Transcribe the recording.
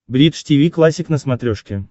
бридж тиви классик на смотрешке